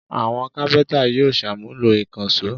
Àwọn kápẹ́ńtà yóò ṣàmúlò ìkànṣó.